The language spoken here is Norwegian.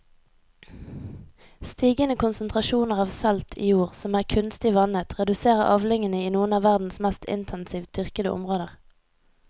Stigende konsentrasjoner av salt i jord som er kunstig vannet reduserer avlingene i noen av verdens mest intensivt dyrkede områder.